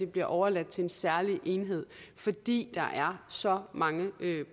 bliver overladt til en særlig enhed fordi der er så mange